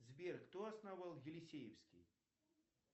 сбер кто основал елисеевский